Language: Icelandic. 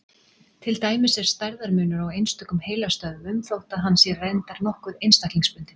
Til dæmis er stærðarmunur á einstökum heilastöðvum, þótt hann sé reyndar nokkuð einstaklingsbundinn.